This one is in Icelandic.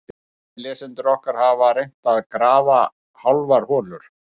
Sumir lesendur okkar hafa reynt að grafa hálfar holur.